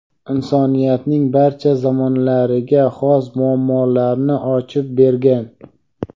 insoniyatning barcha zamonlariga xos muammolarni ochib bergan.